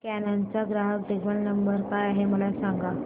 canon चा ग्राहक देखभाल नंबर काय आहे मला सांग